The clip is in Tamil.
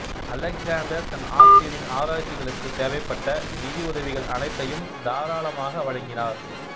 அலெக்சாந்தர் தன் ஆசிரியரின் ஆராய்ச்சிகளுக்குத் தேவைப்பட்ட நிதி உதவிகள் அனைத்தையும் தாராளமாக வழங்கினார்